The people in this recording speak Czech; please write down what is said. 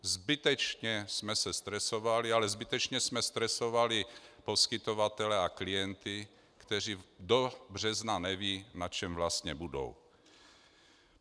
Zbytečně jsme se stresovali, ale zbytečně jsme stresovali poskytovatele a klienty, kteří do března nevědí, na čem vlastně budou.